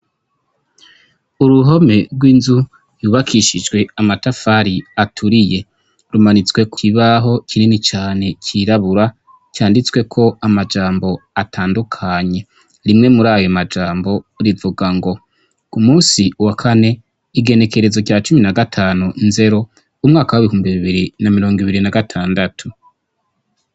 Uruhome rw'inzu yubakishijwe amatafari aturiye rumanitswe kw'ibaho kinini cane kirabura canditswe ko amajambo atandukanye rimwe muri ayo majambo rivuga ngo u musi wa kane igenekerezo rya cumi na gatanu nzero umwaka wa'ibikumba bibiri na mirongo ibiri na gatandatu.